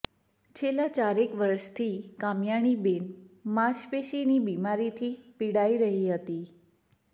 છેલ્લા ચારેક વર્ષથી કામયાણીબેન માશપેશીની બીમારીથી પીડાઈ રહી હતી